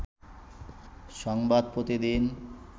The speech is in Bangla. সংবাদ প্রতিদিন